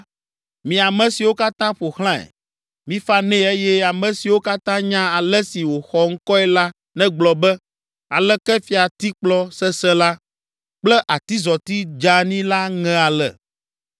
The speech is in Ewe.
Mi ame siwo katã ƒo xlãe, mifa nɛ eye ame siwo katã nya ale si wòxɔ ŋkɔe la negblɔ be, ‘Aleke fiatikplɔ sesẽ la kple atizɔti dzeani la ŋe ale!’